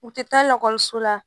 U tɛ taa lakɔliso la